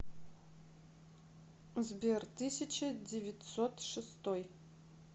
сбер тысяча девятьсот шестой